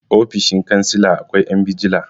ofoshin kansila akwai 'yan bijila